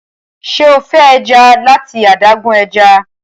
ṣe o fẹ ẹja lati adágún ẹja?